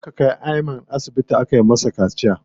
Yanzu muka kai Ayman asibiti aka masa kaciya.